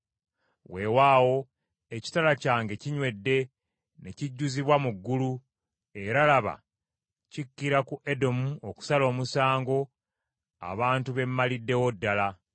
Weewaawo ekitala kyange kinywedde ne kijjuzibwa mu ggulu, era laba, kikkira ku Edomu okusala omusango, abantu be mmaliddewo ddala.